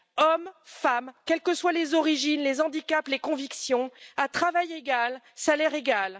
Hommes, femmes, quelles que soient les origines, les handicaps, les convictions à travail égal, salaire égal.